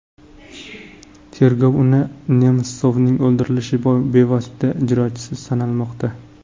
Tergov uni Nemsovning o‘ldirilishi bevosita ijrochisi sanamoqda.